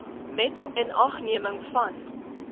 met inagneming van